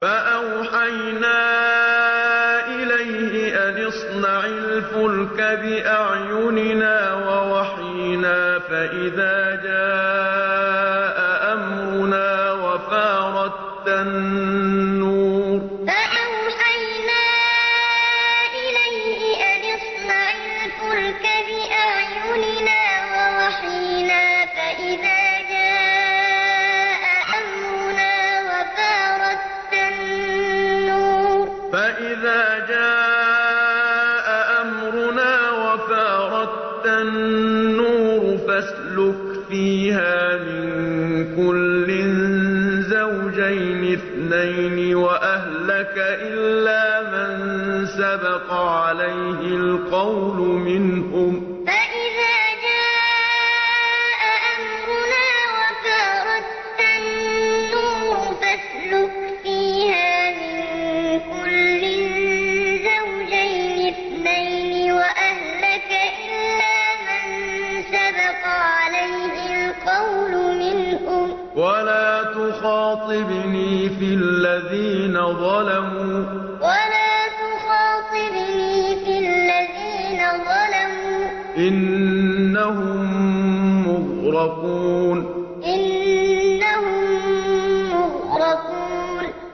فَأَوْحَيْنَا إِلَيْهِ أَنِ اصْنَعِ الْفُلْكَ بِأَعْيُنِنَا وَوَحْيِنَا فَإِذَا جَاءَ أَمْرُنَا وَفَارَ التَّنُّورُ ۙ فَاسْلُكْ فِيهَا مِن كُلٍّ زَوْجَيْنِ اثْنَيْنِ وَأَهْلَكَ إِلَّا مَن سَبَقَ عَلَيْهِ الْقَوْلُ مِنْهُمْ ۖ وَلَا تُخَاطِبْنِي فِي الَّذِينَ ظَلَمُوا ۖ إِنَّهُم مُّغْرَقُونَ فَأَوْحَيْنَا إِلَيْهِ أَنِ اصْنَعِ الْفُلْكَ بِأَعْيُنِنَا وَوَحْيِنَا فَإِذَا جَاءَ أَمْرُنَا وَفَارَ التَّنُّورُ ۙ فَاسْلُكْ فِيهَا مِن كُلٍّ زَوْجَيْنِ اثْنَيْنِ وَأَهْلَكَ إِلَّا مَن سَبَقَ عَلَيْهِ الْقَوْلُ مِنْهُمْ ۖ وَلَا تُخَاطِبْنِي فِي الَّذِينَ ظَلَمُوا ۖ إِنَّهُم مُّغْرَقُونَ